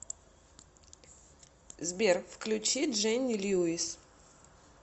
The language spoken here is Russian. сбер включи дженни льюис